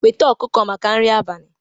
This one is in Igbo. Weta ọkụkọ maka nri abalị